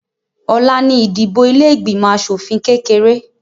Ọ̀la ni ìdìbò ilé ìgbìmọ̀ asòfìn kékeré